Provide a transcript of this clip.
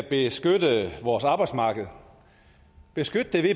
beskytte vores arbejdsmarked beskytte det ved